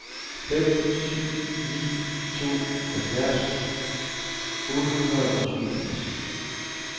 fem syv ni to halvfjerds otte hundrede og syvogfirs